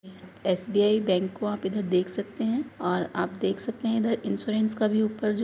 SBI bank को आप इधर देख सकते हैं औरआप देख सकते हैं इधर इंश्योरेंस का भी ऊपर जो --